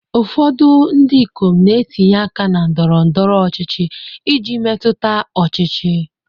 Ụfọdụ ndị ikom na-etinye aka na ndọrọ ndọrọ ọchịchị iji metụta ọchịchị.